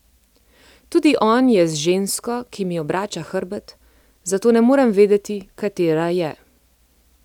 Tudi on je z žensko, ki mi obrača hrbet, zato ne morem vedeti, katera je.